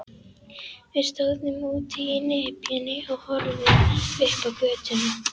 Við stóðum úti í nepjunni og horfðum upp á götuna.